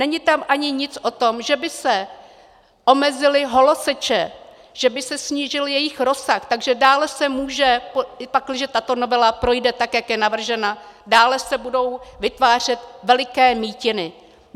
Není tam ani nic o tom, že by se omezily holoseče, že by se snížil jejich rozsah, takže dále se může, pakliže tato novela projde tak, jak je navržena, dále se budou vytvářet veliké mýtiny.